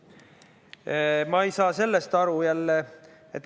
Aga ma ei saa sellest jälle aru.